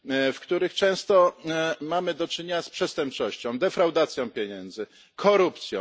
w których często mamy do czynienia z przestępczością, defraudacją pieniędzy, korupcją.